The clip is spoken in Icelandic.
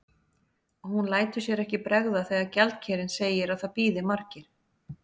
Og hún lætur sér ekki bregða þegar gjaldkerinn segir að það bíði margir.